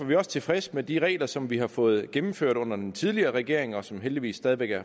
vi også tilfredse med de regler som vi har fået gennemført under den tidligere regering og som heldigvis stadig væk er